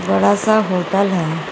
बड़ा सा होटल है।